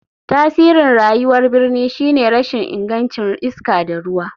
Tasirin rayuwar birni shine rashin ingancin iska da ruwa.